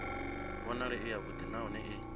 vhonale i yavhuḓi nahone i